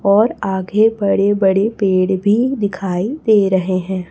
और आगे बड़े बड़े पेड़ भी दिखाई दे रहे हैं।